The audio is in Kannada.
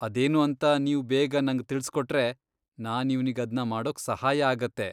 ಅದೇನು ಅಂತ ನೀವ್ ಬೇಗ ನಂಗ್ ತಿಳ್ಸ್ಕೊಟ್ರೆ ನಾನ್ ಇವ್ನಿಗ್ ಅದ್ನ ಮಾಡೋಕ್ ಸಹಾಯ ಆಗತ್ತೆ.